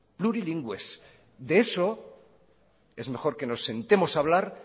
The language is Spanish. plurilingües de eso es mejor que nos sentemos a hablar